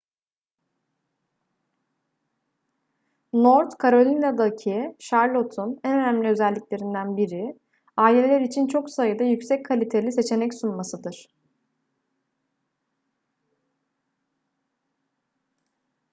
north carolina'daki charlotte'un en önemli özelliklerinden biri aileler için çok sayıda yüksek kaliteli seçenek sunmasıdır